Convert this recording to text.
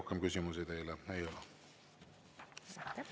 Rohkem küsimusi teile ei ole.